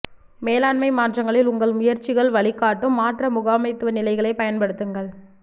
மேலாண்மை மாற்றங்களில் உங்கள் முயற்சிகள் வழிகாட்டும் மாற்ற முகாமைத்துவ நிலைகளைப் பயன்படுத்துங்கள்